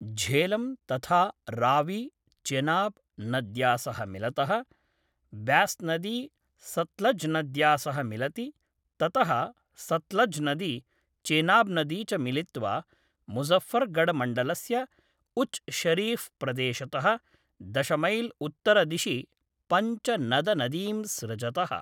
झेलं तथा रावी चेनाब्‌ नद्या सह मिलतः, ब्यास्नदी सत्लज्नद्या सह मिलति, ततः सत्लज्नदी, चेनाब्‌नदी च मिलित्वा मुजफ़्फ़रगढ़मण्डलस्य उच् शरीफ़्‌ प्रदेशतः दश मैल् उत्तरदिशि पञ्जनदनदीं सृजतः।